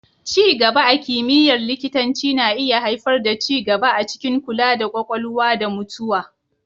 Ci gaba a kimiyyar likitanci na iya haifar da ci gaba a cikin kula da Ƙwakwalwa da mutuwa.